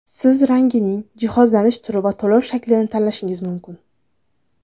Siz rangini, jihozlanish turini va to‘lov shaklini tanlashingiz mumkin.